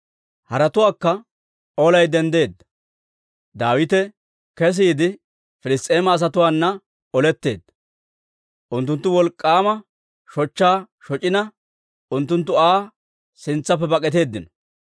Hara olaykka denddeedda; Daawite kesiide Piliss's'eema asatuwaanna oletteedda; unttuntta wolk'k'aama shochchaa shoc'ina, unttunttu Aa sintsaappe bak'atteedino.